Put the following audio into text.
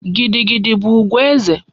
Gidi gidi bu ugwu eze